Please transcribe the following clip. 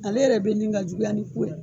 Ale yɛrɛ bɛ ɲini ka juguya ni ku ye.